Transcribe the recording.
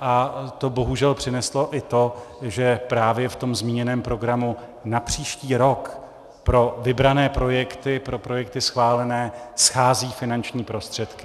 a to bohužel přineslo i to, že právě v tom zmíněném programu na příští rok pro vybrané projekty, pro projekty schválené, schází finanční prostředky.